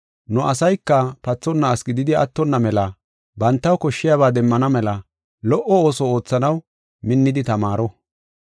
Nu asayka pathonna asi gididi attonna mela bantaw koshshiyaba demmana mela lo77o ooso oothanaw minnidi tamaaro.